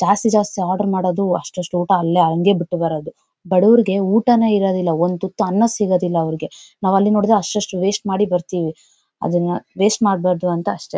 ಜಾಸ್ತಿ ಜಾಸ್ತಿ ಆರ್ಡರ್ ಮಾಡೋದು ಅಷ್ಟ್ ಅಷ್ಟ್ ಊಟ ಅಲ್ಲೇ ಹಂಗೆ ಬಿಟ್ ಬರೋದು ಬಡೋರಿಗೆ ಊಟನೇ ಇರೋದಿಲ್ಲ ಒಂದ್ ತುತ್ತು ಅನ್ನ ಸಿಗೋದಿಲ್ಲ ಅವ್ರಿಗೆ ನಾವ್ ಅಲ್ಲಿ ನೋಡಿದ್ರೆ ಅಸ್ಟ್ ಅಸ್ಟ್ ವೇಸ್ಟ್ ಮಾಡಿ ಬರ್ತೀವಿ ಅದನ್ನ ವೇಸ್ಟ್ ಮಾಡ್ಬಾರ್ದು ಅಂತ ಅಷ್ಟೇ.